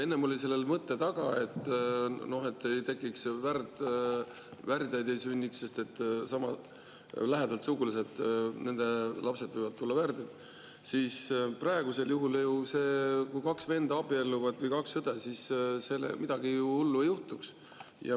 Enne oli selle taga see mõte, et ei sünniks värdjaid, sest lähedalt sugulaste lapsed võivad olla värdjad, aga praegu, kui abielluvad kaks venda või kaks õde, midagi hullu ei juhtuks.